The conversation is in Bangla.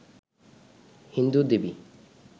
হিন্দু দেবী